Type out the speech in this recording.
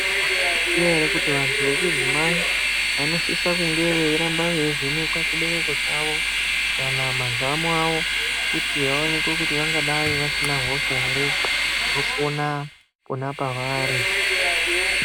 Taizviziya here kuti vantu vechidzimai vanosisa kunge veiramba veivhenekwe chibereko chavo kana mazamo avo kuti vaonekwe kuti vangadai vasina hosha here inopona pavari.